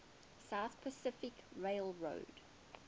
southern pacific railroad